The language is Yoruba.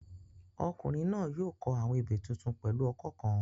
Ọkùnrin náà yóò kọ àwọn ebè tuntun pẹ̀lú ọkọ́ kan